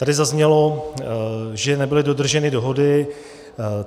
Tady zaznělo, že nebyly dodrženy dohody.